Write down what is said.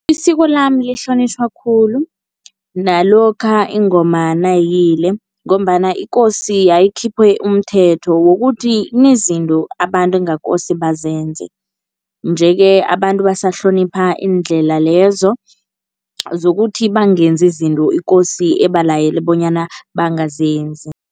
Isiko lami lihlonitjhwa khulu nalokha ingoma nayile ngombana ikosi yayikhiphe umthetho wokuthi kunezinto abantu engakose bazenza, nje-ke abantu basahlonipha iindlela lezo zokuthi bangenzi izinto ikosi ebalayele bonyana bangazenzi.